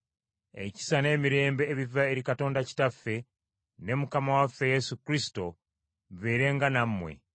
ekisa n’emirembe ebiva eri Katonda Kitaffe ne Mukama waffe Yesu Kristo bibeerenga nammwe.